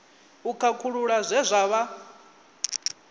u khakhulula zwe zwa vha